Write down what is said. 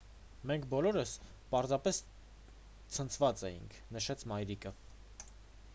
«մենք բոլորս պարզապես ցնցված էինք»,- նշեց մայրիկը: